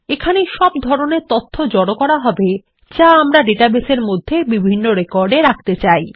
এখানেই সব ধরনের তথ্য জড়ো করা হবে যা আমরা ডাটাবেসের মধ্যে বিভন্ন রেকর্ড এ রাখতে চাই